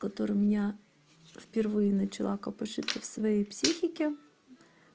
который меня впервые начала копошится в своей психике